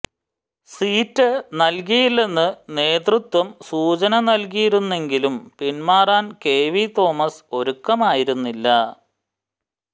seat നൽകില്ലെന്ന് നേതൃത്വം സൂചന നൽകിയിരുന്നെങ്കിലും പിന്മാറാൻ കെ വി തോമസ് ഒരുക്കമായിരുന്നില്ല